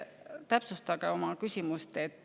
Täpsustage oma küsimust.